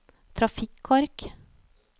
trafikkork